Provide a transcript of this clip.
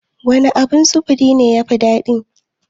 Wane abun sufuri ne ya fi daɗi?